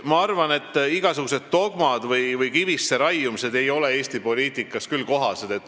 Ma arvan, et igasugused dogmad või kivisse raiumised ei ole Eesti poliitikas küll kohased.